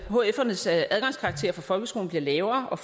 hfernes adgangskarakterer fra folkeskolen bliver lavere og